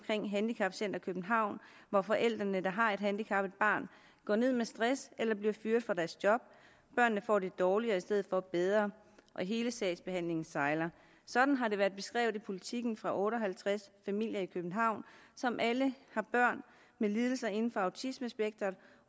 med handicapcenter københavn hvor forældre der har et handicappet barn går ned med stress eller bliver fyret fra deres job børnene får det dårligere i stedet for bedre og hele sagsbehandlingen sejler sådan har politiken for otte og halvtreds familier i københavn som alle har børn med lidelser inden for autismespektret